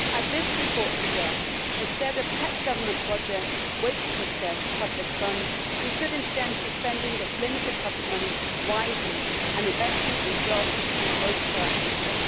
As this report suggests, instead of pet government projects wasting scarce public funds, we should instead be spending this limited public money wisely and investing in jobs and growth for our future.